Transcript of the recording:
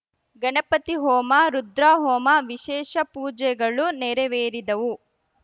ಗಣಪತಿ ಹೋಮ ರುದ್ರಾಹೋಮ ವಿಶೇಷ ಪೂಜೆಗಳು ನೇರವೇರಿದವು